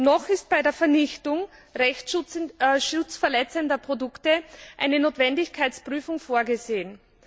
noch ist bei der Vernichtung rechtsschutzverletzender Produkte eine Notwendigkeitsprüfung vorgesehen.